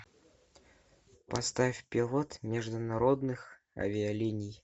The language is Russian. поставь пилот международных авиалиний